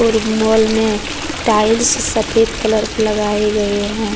और मॉल में टाइल्स सफेद कलर के लगाए गए हैं।